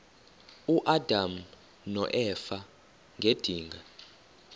uadam noeva ngedinga